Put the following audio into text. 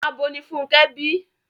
Abo ni Fúnkẹ́ bí.